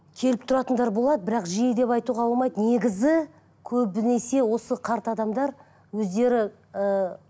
келіп тұратындар болады бірақ жиі деп айтуға болмайды негізі көбінесе осы қарт адамдар өздері ыыы